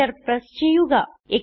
Enter press ചെയ്യുക